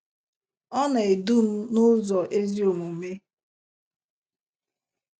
“ Ọ Na - edu M n’Ụzọ Ezi Omume ”